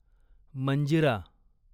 Manjira